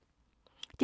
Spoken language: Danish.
DR P2